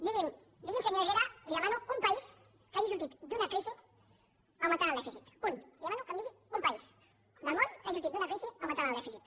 digui’m digui’m senyor herrera li ho demano un país que hagi sortit d’una crisi augmentant el dèficit un li demano que em digui un país del món que hagi sortit d’una crisi augmentant el dèficit